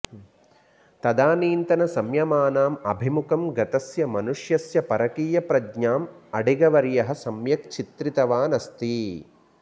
तदानीन्तनसंयमानाम् अभिमुखं गतस्य मनुष्यस्य परकीयप्रज्ञाम् अडिगवर्यः सम्यक् चित्रितवान् अस्ति